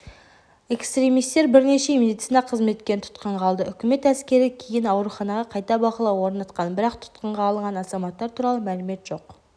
экстремистер бірнеше медицина қызметкерін тұтқынға алды үкімет әскері кейін ауруханаға қайта бақылау орнатқан бірақ тұтқынға алынған азаматтар туралы мәлімет жоқ